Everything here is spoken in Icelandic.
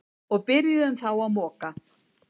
Og byrjuðum þá að moka.